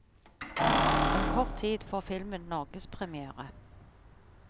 Om kort tid får filmen norgespremière.